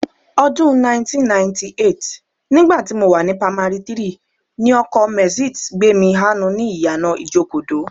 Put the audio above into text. Ọdún 1998, nígbà tí mo wà ní pamari 3, ni ọkọ Mercedes gbé mi hánu ni ìyànà Ìjokòdó